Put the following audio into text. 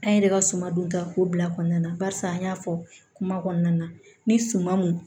An yɛrɛ ka suma dun ta ko bila kɔnɔna na barisa an y'a fɔ kuma kɔnɔna na ni suman mun